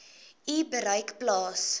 u bereik plaas